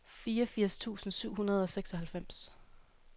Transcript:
fireogfirs tusind syv hundrede og seksoghalvfems